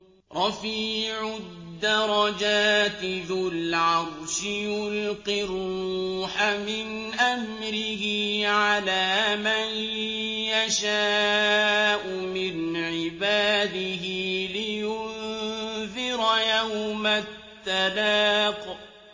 رَفِيعُ الدَّرَجَاتِ ذُو الْعَرْشِ يُلْقِي الرُّوحَ مِنْ أَمْرِهِ عَلَىٰ مَن يَشَاءُ مِنْ عِبَادِهِ لِيُنذِرَ يَوْمَ التَّلَاقِ